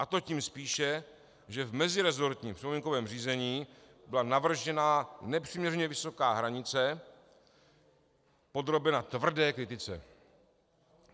A to tím spíše, že v meziresortním připomínkovém řízení byla navržená nepřiměřeně vysoká hranice podrobena tvrdé kritice.